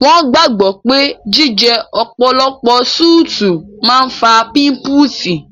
Wọ́n gbàgbọ́ pé jíjẹ ọ̀pọ̀lọpọ̀ súùtì máa ń fà pímúpúsi